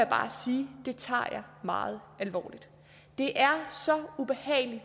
bare sige at det tager jeg meget alvorligt det er så ubehageligt